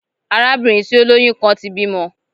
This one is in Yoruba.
Arabinrin ti o loyun kan ti bimọ